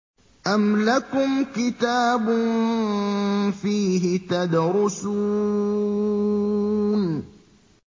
أَمْ لَكُمْ كِتَابٌ فِيهِ تَدْرُسُونَ